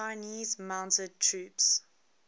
chinese mounted troops